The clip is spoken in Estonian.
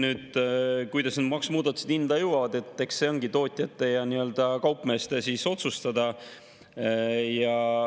See, kuidas need maksumuudatused hinda jõuavad, ongi tootjate ja kaupmeeste otsustada.